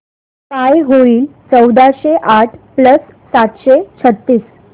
काय होईल चौदाशे आठ प्लस सातशे छ्त्तीस